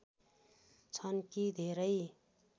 छन् कि धेरै